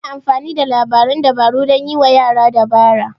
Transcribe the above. Ana amfani da labaran dabaru dan yiwa yara dabara.